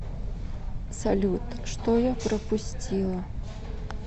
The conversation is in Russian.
салют что я пропустила